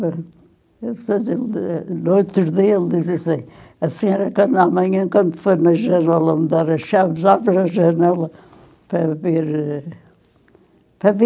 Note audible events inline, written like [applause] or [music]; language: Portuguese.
[unintelligible] no outro dia, ele disse assim, a senhora, quando amanhã, quando for na, [unintelligible] me dar as chaves, abre a janela para ver [unintelligible] para ver